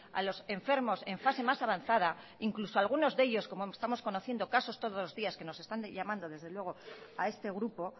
a los enfermos en fase más avanzada incluso alguno de ellos como estamos conociendo casos que no están llamando desde luego a este grupo